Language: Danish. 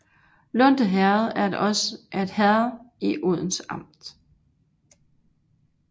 Lunde Herred var et herred i Odense Amt